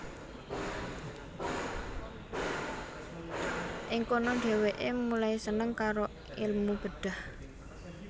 Ing kono dheweke mulai seneng karo elmu bedhah